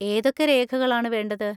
ഏതൊക്കെ രേഖകളാണ് വേണ്ടത്?